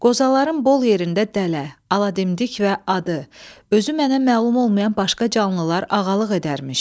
Qozaların bol yerində dələ, aladimdik və adı özü mənə məlum olmayan başqa canlılar ağalıq edərmiş.